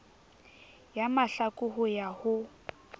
ya mahlaku ho ya ho